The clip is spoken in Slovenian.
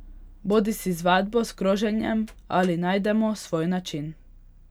Bodisi z vadbo s kroženjem ali najdemo svoj način.